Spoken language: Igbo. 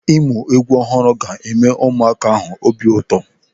Ịmụ egwu ọhụrụ ga-eme ụmụaka ahụ obi ụtọ.